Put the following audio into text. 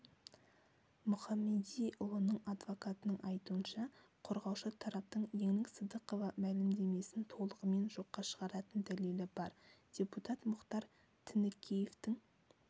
мұхамедиұлының адвокатының айтуынша қорғаушы тараптың еңлік сыдықова мәлімдемесін толығымен жоққа шығаратын дәлелі бар депутат мұхтар тінікеевтің